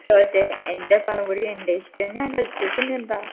കോട്ട എൻ്റെ പഴം പൊരി എൻ്റെ ഇഷ്ടം ഞാൻ കഴിച്ചു പിന്നെന്താ